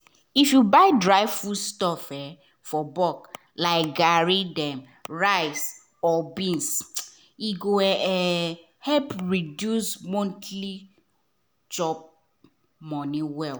if you buy dry foodstuff for bulk like garri rice or beans e go help reduce monthly chop-money well.